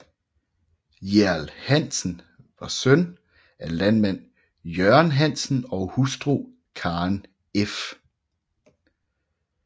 Hjerl Hansen var søn af landmand Jørgen Hansen og hustru Karen f